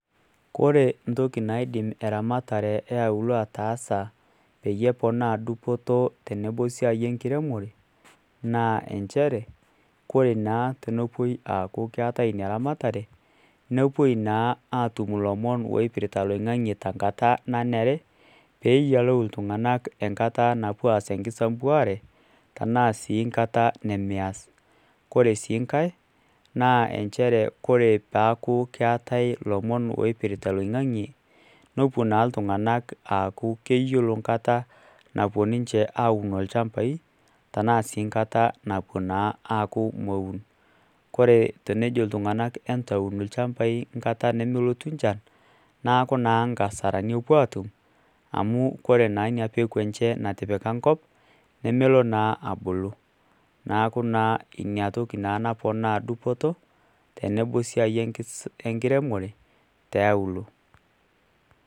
Kore ntoki naidim eramatare eauluo ataasa peeponaa dupoto tenebo esiai enkiremore naa inchere koree naa tenepuoi aaku keetai ina ramatare nepuoi aatum ilomo ooipirta loing'ange tenkata nanare peeyiolou inltung'anak enkata napuoi aas enkisambuare neyiolou sii nkata nemeyas kore sii nkae naa inchere kore peeku keetai ilomon oopirta loing'ang'e nepuo naa iltung'anak aaku keyiolo enkata napuo ninche aaaun ilchambai tenaa sii nkata napuo naa aaku meun kore tenejo iltung'anak entuun ilchambai nkata nemelotu nchan neeku naa inkasarani epuo aatum amu kore naa inapeku enyee natipika enkop nemelo naa abulu neeku naa inatoki naponaa dupoto tenebo naa wesiai enkiremore tiauluo.